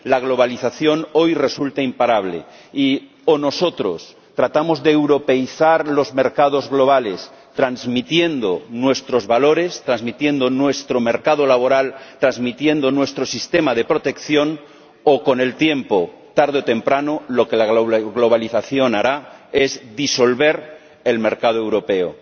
La globalización, hoy, resulta imparable y, o nosotros tratamos de europeizar los mercados globales transmitiendo nuestros valores, transmitiendo nuestro mercado laboral, trasmitiendo nuestro sistema de protección, o, con el tiempo, tarde o temprano, lo que la globalización hará es disolver el mercado europeo.